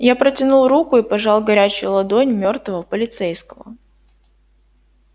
я протянул руку и пожал горячую ладонь мёртвого полицейского